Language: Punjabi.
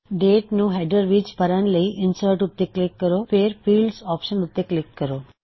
ਡੇਟ ਨੂੰ ਹੈਡਰ ਵਿੱਚ ਭਰਣ ਲਈ ਇਨਸਰਟ ਉੱਤੇ ਕਲਿੱਕ ਕਰੋ ਫੇਰ ਫੀਲਡਜ਼ ਆਪਸ਼ਨ ਉੱਤੇ ਕਲਿੱਕ ਕਰੋ